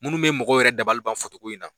Munnu bɛ mɔgɔw yɛrɛ dabaliban foto ko in na.